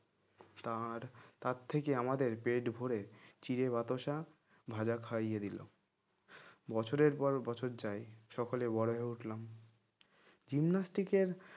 তার তার থেকে আমাদের পেট ভরে চিড়ে বাতাসা ভাজা খাইয়ে দিল বছরের পর বছর যায় সকলে বড়ো হয়ে উঠলাম gymnastic এর